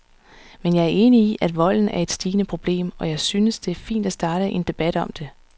Men jeg er enig i, at volden er et stigende problem, og jeg synes, det er fint at starte en debat om det.